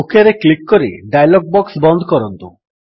ଓକେରେ click କରି dialog box ବନ୍ଦ କରନ୍ତୁ